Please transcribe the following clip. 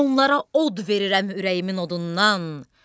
Onlara od verirəm ürəyimin odundan.